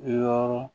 Yɔrɔ